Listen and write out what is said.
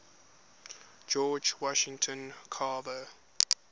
george washington carver